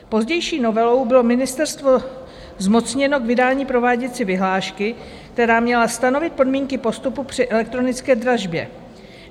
Pozdější novelou bylo ministerstvo zmocněno k vydání prováděcí vyhlášky, která měla stanovit podmínky postupu při elektronické dražbě.